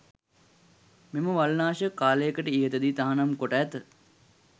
මෙම වල් නාශක කාලයකට ඉහතදී තහනම් කොට ඇත.